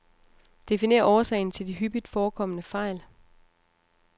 Definer årsagen til de hyppigt forekommende fejl.